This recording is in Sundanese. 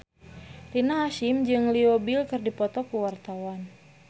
Rina Hasyim jeung Leo Bill keur dipoto ku wartawan